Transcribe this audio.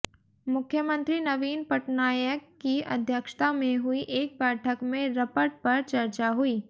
मुख्यमंत्री नवीन पटनायक की अध्यक्षता में हुई एक बैठक में रपट पर चर्चा हुई